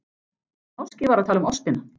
En sá norski var að tala um ástina.